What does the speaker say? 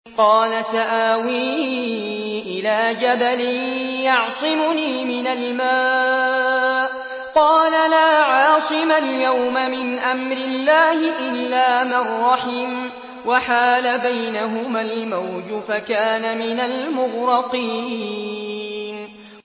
قَالَ سَآوِي إِلَىٰ جَبَلٍ يَعْصِمُنِي مِنَ الْمَاءِ ۚ قَالَ لَا عَاصِمَ الْيَوْمَ مِنْ أَمْرِ اللَّهِ إِلَّا مَن رَّحِمَ ۚ وَحَالَ بَيْنَهُمَا الْمَوْجُ فَكَانَ مِنَ الْمُغْرَقِينَ